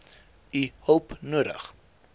u hulp nodig